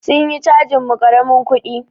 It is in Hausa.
Sun yi cajin mu karamin kudi.